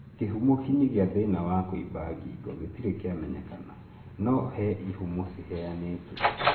Kihumo kinyi gia thina wa kuimba ngingo gitiri kiamenyekana, no he ihumo ciheanĩtwo